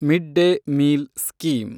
mid day meal scheme